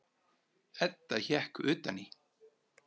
Edda hékk utan í.